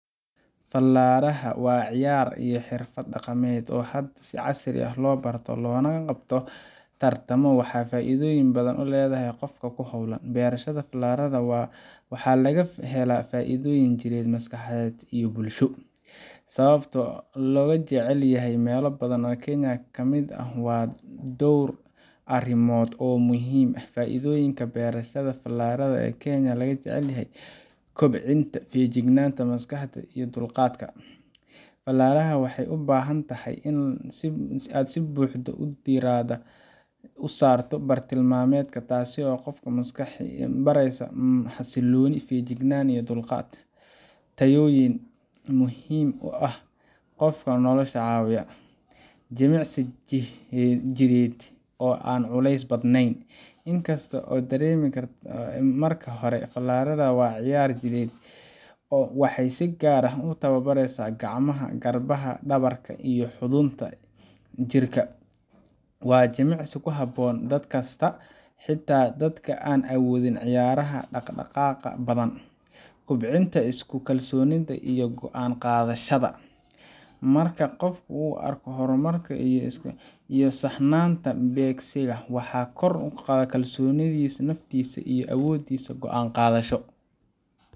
Falaadhaha waa ciyaar iyo xirfad dhaqameed oo hadda si casri ah loo barto loona qabto tartamo, waxaana ay faa’iidooyin badan u leedahay qofka ku hawlan. Bershada falaadhaha waxaa laga helaa faa’iidooyin jireed, maskaxeed iyo bulsho. Sababta looga jecel yahay meelo badan oo Kenya ka mid ah waa dhowr arrimood oo muhiim ah: Faa’iidooyinka bershada falaadhaha ee keena in laga jeclyahay Kenya: – Kobcinta feejignaanta maskaxda iyo dulqaadka: Falaadhaha waxay u baahan tahay in aad si buuxda diiradda u saarto bartilmaameedka, taas oo qofka baraysa xasillooni, feejignaan, iyo dulqaad tayooyin muhiim ah oo qofka nolosha caawiya. – Jimicsi jidheed oo aan culays badnayn: In kasta oo aan la dareemin marka hore, falaadhaha waa ciyaar jidheed. Waxay si gaar ah u tababaresa gacmaha, garbaha, dhabarka, iyo xudunta jirka . Waa jimicsi ku habboon da’ kasta, xitaa dadka aan awoodin ciyaaraha dhaqdhaqaaqa badan. – Kobcinta isku kalsoonaanta iyo go’aan qaadashada: Marka qofku arko horumar iyo saxnaanta beegsiga, waxaa kordha kalsoonida naftiisa iyo awooddiisa go'aan-qaadasho